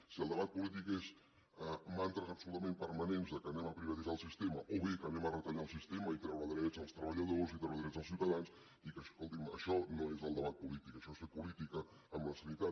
si el debat polític són mantres absolutament permanents que anem a privatitzar el sistema o bé que anem a retallar el sistema i treure drets als treballadors i treure drets als ciutadans escolti’m això no és el debat polític això és fer política amb la sanitat